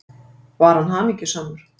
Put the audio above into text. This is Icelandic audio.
Var hann hamingjusamur?